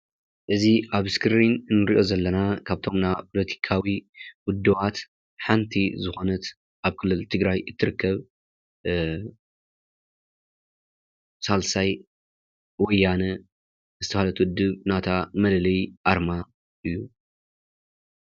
እዚ ኣብ እስክሪን እንርእዮ ዘለና ካብቶም ናይ ፖለቲካዊ ውድባት ሓንቲ ዝኾነት ኣብ ክልል ትግራይ እትርከብ ሳልሳይ ወያነ ዝተባሃለት ወድብ ናታ መለለይ ኣርማ እዩ።